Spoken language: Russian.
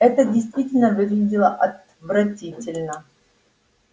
это действительно выглядело отвратительно